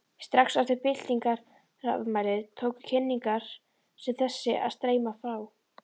Strax eftir byltingarafmælið tóku tilkynningar sem þessi að streyma frá